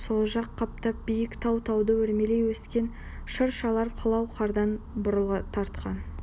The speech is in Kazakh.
сол жақ қаптал биік тау тауды өрмелей өскен шыршалар қылау қардан бурыл тартқан